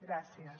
gràcies